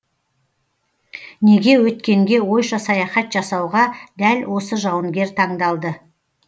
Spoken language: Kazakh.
неге өткенге ойша саяхат жасауға дәл осы жауынгер таңдалды